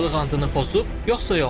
Subaylıq antını pozub yoxsa yox?